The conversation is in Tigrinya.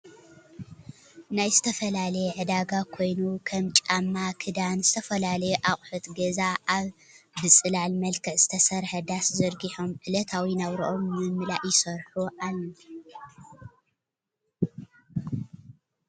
ናይ ዝተፋላለየ ዕዳጋ ኮይኑ ከም ጫማ፣ ክደን ፣ ዝተፈላለዩ ኣቁሑት ገዛ ኣብ ብፅላል መልክዕ ዝተሰርሓ ዳስ ዘርጊሖም ዕለታዊ ናብርኦም ንምምላእ ይሰርሑ ኣዉ።